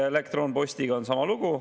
Elektronpostiga on sama lugu.